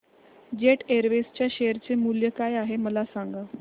jet Airways च्या share चे मूल्य काय आहे मला सांगा